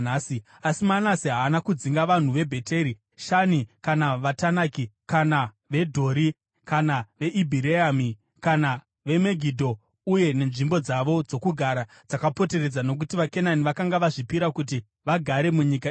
Asi Manase haana kudzinga vanhu veBheti Shani kana veTanaki kana veDhori kana veIbhireami kana veMegidho uye nenzvimbo dzavo dzokugara dzakapoteredza, nokuti vaKenani vakanga vazvipira kuti vagare munyika iyoyo.